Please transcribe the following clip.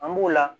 An b'o la